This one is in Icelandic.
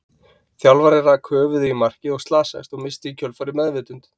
Þjálfarinn rak höfuðið í markið og slasaðist, og missti í kjölfarið meðvitund.